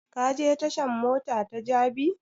Ka je tashan mota ta jabi?